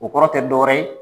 O kɔrɔ tɛ dɔ wɛrɛ ye